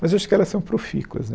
Mas acho que elas são profícuas né.